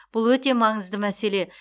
бұл өте маңызды мәселе